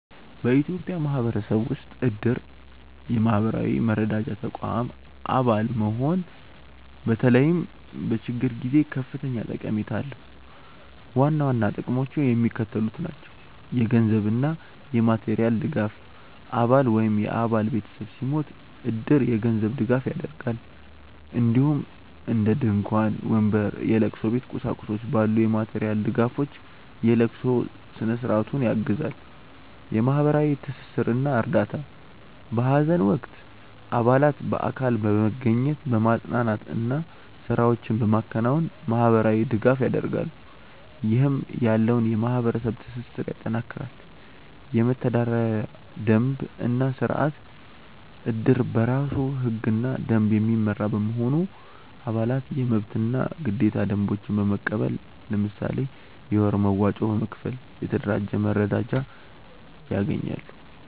በኢትዮጵያ ማህበረሰብ ውስጥ እድር (የማህበራዊ መረዳጃ ተቋም) አባል መሆን በተለይም በችግር ጊዜ ከፍተኛ ጠቀሜታ አለው። ዋና ዋና ጥቅሞቹ የሚከተሉት ናቸው - የገንዘብ እና የማቴሪያል ድጋፍ: አባል ወይም የአባል ቤተሰብ ሲሞት እድር የገንዘብ ድጋፍ ያደርጋል፣ እንዲሁም እንደ ድንኳን፣ ወንበር፣ የለቅሶ ቤት ቁሳቁሶች ባሉ የማቴሪያል ድጋፎች የለቅሶ ስነ-ስርዓቱን ያግዛል። የማህበራዊ ትስስር እና እርዳታ: በሀዘን ወቅት አባላት በአካል በመገኘት፣ በማፅናናት እና ስራዎችን በማከናወን ማህበራዊ ድጋፍ ያደርጋሉ፣ ይህም ያለውን የማህበረሰብ ትስስር ያጠናክራል። የመተዳደሪያ ደንብ እና ስርአት: እድር በራሱ ህግና ደንብ የሚመራ በመሆኑ፣ አባላት የመብትና ግዴታ ደንቦችን በመቀበል፣ ለምሳሌ የወር መዋጮ በመክፈል፣ የተደራጀ መረዳጃ ያገኛሉ።